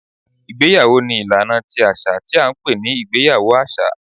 Ìgbéyàwó ni ìlaná tí aṣa ní a n pẹ ní ìgbéyàwó aṣa